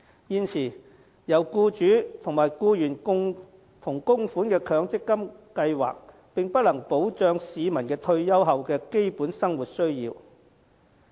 現時，由僱主和僱員共同供款的強制性公積金計劃並不能保障市民退休後的基本生活需要。